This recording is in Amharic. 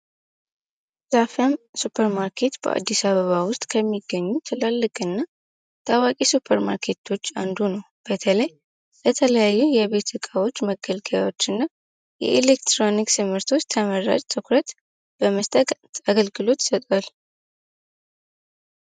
አዛነ ስፕርማርኬትበአዲስ አበባ ውስጥ ከሚገኙ ትላልቅና ታዋቂ ሱፐር ማርኬቶች አንዱ ነው በተለይ የተለያዩ የቤት እቃዎች መገልገያዎችና የኤሌክትሮኒክስ ምርቶች በመስጠት አገልግሎት ይሰጣል